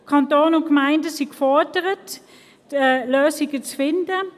Kanton und Gemeinden sind gefordert, Lösungen zu finden.